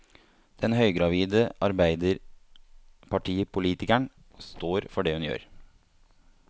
Den høygravide arbeiderpartipolitikeren står for det hun gjør.